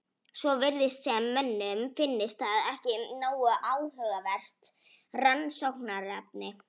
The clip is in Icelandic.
Svo virðist sem mönnum finnist það ekki nógu áhugavert rannsóknarefni.